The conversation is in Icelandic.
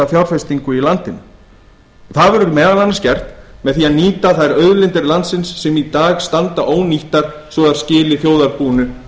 fjárfestingu í landinu það verður meðal annars gert með því að nýta þær auðlindir landsins sem í dag standa ónýttar svo að þær skili þjóðarbúinu